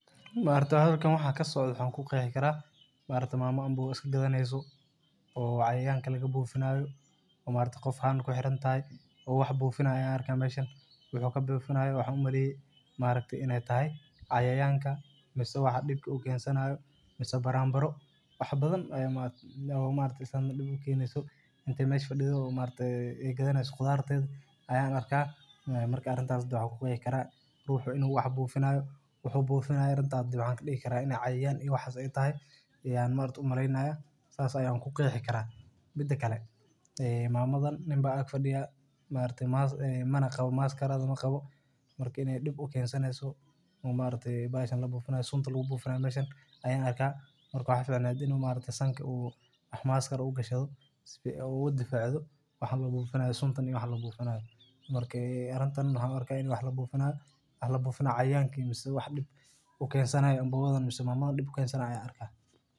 Ma arkataye halkan awaxa kasocdo waxan ku qeexi karaa ma arkate. mama mboga iska kadhanayso oo cayayanka laga bufinayo oo ma arkate qoof haan kuxirintahay o wax bufinaya aa arka meshan. Wuxu ka bufinayo waxa umaleye maarkte inay tahay cayayanka mise waxa dibka ukensanayo mise baranbaro wax badhan aya marakte islantan diib ukeneyso marka meesha fadidho ma arkatay ay kadhanyso qudharta ayan arka marka arintas waxa ku qeexi karaa ruxu inu wax bufinayo wuxu bufinayona waxa kadihi kara inay cayayan iyo waxas ay tahay ayan ma arakati umaleynaya saas ayan kuqixi karaa. Midakale mamadhan nin baa ak fadiya ma araktey mana qawo maskaradha maqawo marka inay diib ukeensanayeso ma araktee baxashan labufinayo sunta lagu bufinayo meeshan ayan arkaa waxa ficaaneed ina ma arkatay sanka oo wax maskar u gashto sifi aya uga difacdo waxan labufinayo suntan iyo wax labufinayo marka arintan waxan u arko in wax labufinayo wax labufinayo cayayanka mise wax dib ukensanayo mbogadhan mise mamadhan dib ukensanayo aan arka.